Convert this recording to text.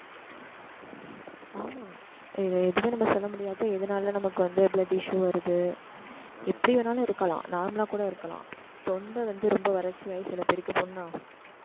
ஆமா, இதை எப்படியும் நம்ம சொல்ல முடியாது. இதனால நமக்கு வந்து, blood issue வருது எப்படி வேணாலும் இருக்கலாம். normal ஆ கூட இருக்கலாம். தொண்டை வந்து, ரொம்ப வறட்சியாகி சில பேருக்கு புண்ணாகும்